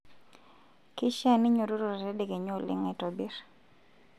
keishaa ninyiototo tedekenya oleng aitobirr